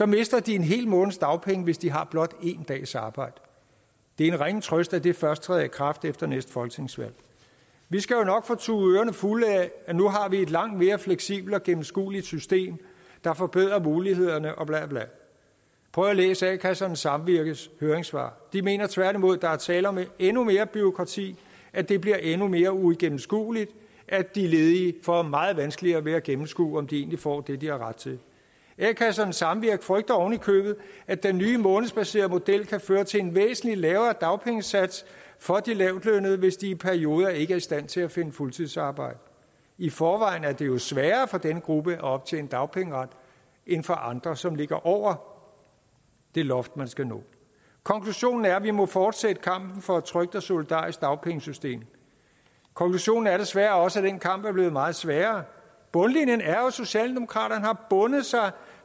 mister de en hel måneds dagpenge hvis de har blot en dags arbejde det er en ringe trøst at det først træder i kraft efter næste folketingsvalg vi skal jo nok få tudet ørerne fulde af at nu har vi et langt mere fleksibelt og gennemskueligt system der forbedrer mulighederne og blablabla prøv at læse a kassernes samvirkes høringssvar de mener tværtimod at der er tale om endnu mere bureaukrati at det bliver endnu mere uigennemskueligt at de ledige får meget vanskeligere ved at gennemskue om de egentlig får det de har ret til a kassernes samvirke frygter ovenikøbet at den nye månedsbaserede model kan føre til en væsentlig lavere dagpengesats for de lavtlønnede hvis de i perioder ikke er i stand til at finde fuldtidsarbejde i forvejen er det jo sværere for denne gruppe at optjene dagpengeret end for andre som ligger over det loft man skal nå konklusionen er at vi må fortsætte kampen for et trygt og solidarisk dagpengesystem konklusionen er desværre også at den kamp er blevet meget sværere bundlinjen er jo at socialdemokraterne har bundet sig